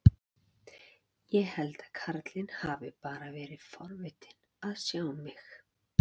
Ég held að karlinn hafi bara verið forvitinn að sjá mig.